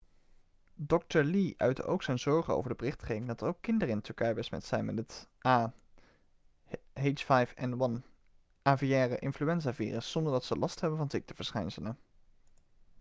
dokter lee uitte ook zijn zorgen over de berichtgeving dat er ook kinderen in turkije besmet zijn met het ah5n1 aviaire-influenzavirus zonder dat ze last hebben van ziekteverschijnselen